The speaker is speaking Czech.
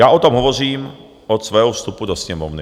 Já o tom hovořím od svého vstupu do Sněmovny.